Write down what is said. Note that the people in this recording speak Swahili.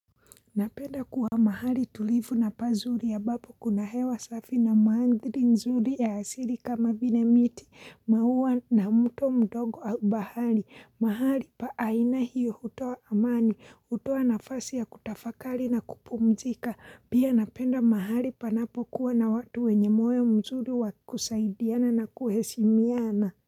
Napenda kuwa mahali tulivu na pazuri ambapo kuna hewa safi na mandhari nzuri ya asili kama vile miti, maua na mto mdogo au bahari. Mahali pa aina hiyo hutoa amani, hutoa nafasi ya kutafakari na kupumzika. Pia napenda mahali panapokuwa na watu wenye moyo mzuri wakusaidiana na kuheshimiana.